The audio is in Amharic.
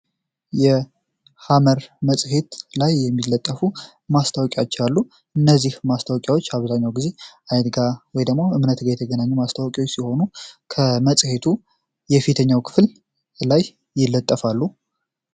ይህ ሐመር መጽሄት ላይ የሚለጠፉ ማስታወቂያዎች እነዚህ ማስታወቂያዎች ብዙ ጊዜ ከሃይማኖት ወይም ከእምነት ጋር የተገናኙ መጽሔቶች ሲሆኑ በመጽሔቱ የፊትለፊት ገጽ ላይ ይለጠፋሉ።